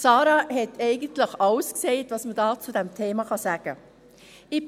Sarah hat eigentlich alles gesagt, das man zu diesem Thema sagen kann.